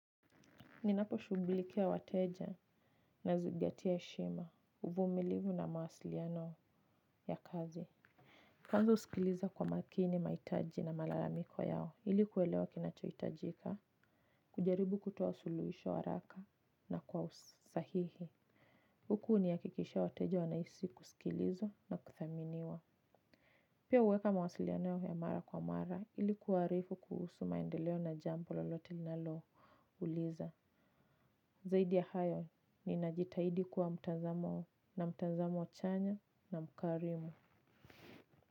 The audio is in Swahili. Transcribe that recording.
Ninaposhughulikia wateja nazingatia heshima, uvumilivu na mawasiliano ya kazi. Kwanza husikiliza kwa makini, mahitaji na malalamiko yao ili kuelewa kinachohitajika, kujaribu kutoa suluhisho haraka na kwa usahihi. Huku hunihakikishia wateja wanahisi kusikilizwa na kuthaminiwa. Pia huweka mawasiliano yao ya mara kwa mara ili kuwaarifu kuhusu maendeleo na jambo lolote linalouliza. Zaidi ya hayo, ninajitahidi kuwa mtazamo na mtazamo chanya na mkarimu.